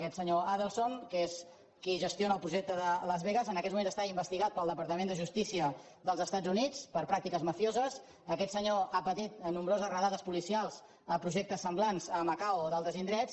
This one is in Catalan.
aquest senyor adelson que és qui gestiona el projecte de las vegas en aquests mo·ments està investigat pel departament de justícia dels estats units per pràctiques mafioses aquest senyor ha patit nombroses redades policials a projectes sem·blants a macau o d’altres indrets